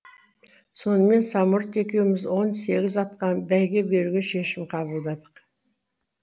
сонымен самұрат екеуміз он сегіз атқа бәйге беруге шешім қабылдадық